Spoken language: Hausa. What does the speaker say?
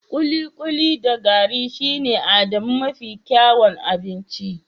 kikuli da gari shine Adamu mafi kyawun abinci